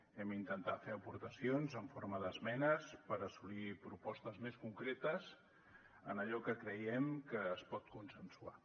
hem intentat fer aportacions en forma d’esmenes per assolir propostes més concretes en allò que creiem que es pot consensuar